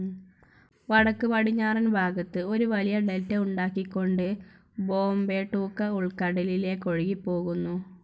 വടക്കുപറഞ്ഞാറൻ ഭാഗത്ത് ഒരു വലിയ ഡെൽറ്റ ഉണ്ടാക്കികൊണ്ട് ബോംബെട്ടൂക്ക ഉൾക്കടലിലേക്കൊഴുകിപ്പോകുന്നു.